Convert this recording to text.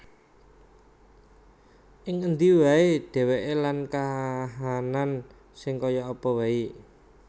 Ing endi wae dheweke lan kahanan sing kaya apa wae